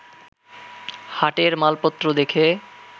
হাটের মালপত্র দেখে